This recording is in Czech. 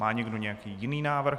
Má někdo nějaký jiný návrh?